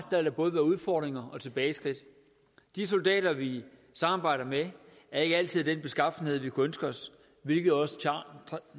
der både være udfordringer og tilbageskridt de soldater vi samarbejder med er ikke altid af den beskaffenhed vi kunne ønske os hvilket også